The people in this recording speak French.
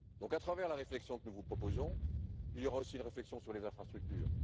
À travers la réflexion que nous vous proposons, il y aura aussi une réflexion sur les infrastructures.